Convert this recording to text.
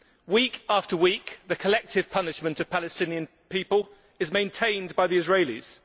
Week after week, the collective punishment of Palestinian people is maintained by the Israelis.